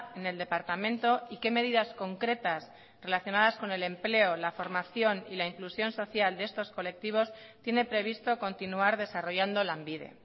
en el departamento y qué medidas concretas relacionadas con el empleo la formación y la inclusión social de estos colectivos tiene previsto continuar desarrollando lanbide